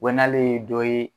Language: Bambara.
Wa n'ale ye dɔ ye.